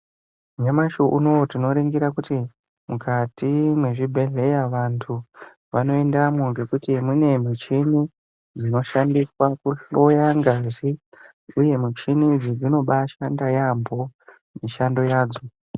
Nyamashi unowu tinoringira kuti , mukati mwezvibhedhleya vantu vanoendamwo ngekuti mune michini dzinoshandiswa kuhloya ngazi uye michini idzi, dzinobaashanda yaampho mishando yadzo.